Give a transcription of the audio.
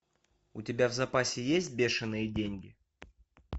у тебя в запасе есть бешенные деньги